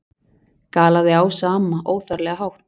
galaði Ása amma, óþarflega hátt.